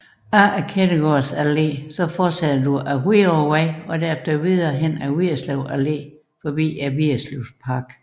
Efter Kettegårds Alle fortsættes ad Hvidovrevej og derfra videre ad Vigerslev Allé forbi Vigerslevparken